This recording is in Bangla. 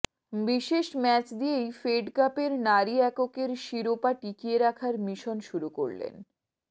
বিশেষ ম্যাচ দিয়েই ফেড কাপের নারী এককের শিরোপা টিকিয়ে রাখার মিশন শুরু করলেন